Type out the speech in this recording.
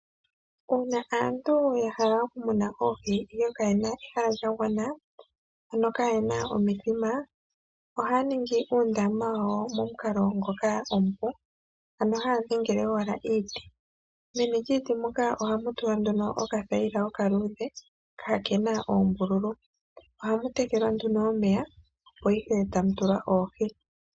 Uuna aantu yahala okumuna oohi ihe kayena ehala lya gwana ano kayena omithima ohaya ningi uundama wawo momukalo ngoka omipu ano haya dhengele owala iiti. Meni lyiiti muka ohamutulwa nduno okathayila okaluudhe kakena oombululu .ohamu tekelwa nduno omeya opo ihe tamutulwa oohi.